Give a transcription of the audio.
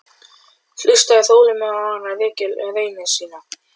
Hlustaði þolinmóður á hann rekja raunir sínar.